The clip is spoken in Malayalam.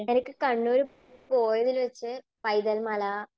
എനിക്ക് കണ്ണൂര് പോയതിൽ വച്ച് പൈതൽമല,